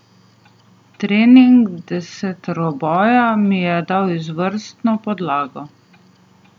Trening deseteroboja mi je dal izvrstno podlago.